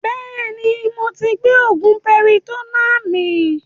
Bẹ́ẹ̀ni moti gbé oògùn piritonnáà mi